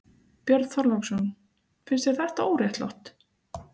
Björn Þorláksson: Finnst þér þetta óréttlátt?